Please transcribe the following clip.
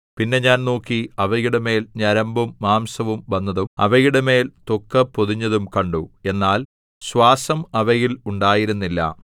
പിന്നെ ഞാൻ നോക്കി അവയുടെമേൽ ഞരമ്പും മാംസവും വന്നതും അവയുടെമേൽ ത്വക്കുപൊതിഞ്ഞതും കണ്ടു എന്നാൽ ശ്വാസം അവയിൽ ഉണ്ടായിരുന്നില്ല